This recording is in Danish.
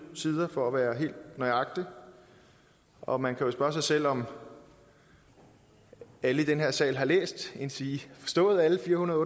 sider for at være helt nøjagtig og man kan jo spørge sig selv om alle i den her sal har læst endsige har forstået alle fire hundrede